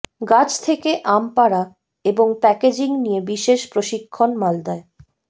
গাছ থেকে আম পাড়া এবং প্যাকেজিং নিয়ে বিশেষ প্রশিক্ষণ মালদায়